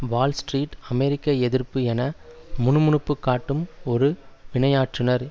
Wall Street அமெரிக்க எதிர்ப்பு என முணுமுணுப்புக் காட்டும் ஒரு வினையாற்றுநர்